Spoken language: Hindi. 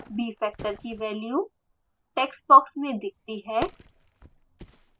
bfactor की वैल्यू value टेक्स्ट बॉक्स में दिखती है